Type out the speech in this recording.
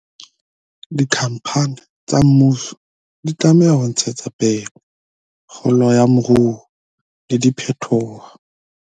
Dikhampani tsa mmuso di tlameha ho ntshetsa pele kgolo ya moruo le diphetoho